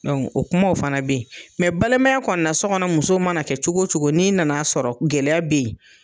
o kumaw fana be yen . balimaya kɔnɔna na so kɔnɔ muso mana kɛ cogo cogo n'i nana sɔrɔ gɛlɛya be yen